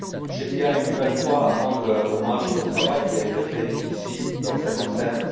Je tiens une nouvelle fois à rendre hommage au travail qui a été fait ici, dans cette enceinte.